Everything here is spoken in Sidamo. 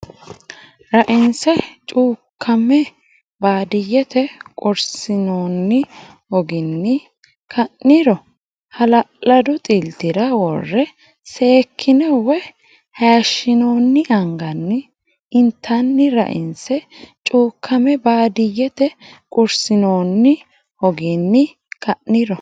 Rainse cuukkame baadiyyete quursinoonni hoginni ka niro hala ladu xiltira worre seekkine woy hayishshi noonni anganni intanni Rainse cuukkame baadiyyete quursinoonni hoginni ka niro.